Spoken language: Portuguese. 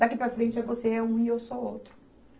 Daqui para frente é você é um e eu sou outro.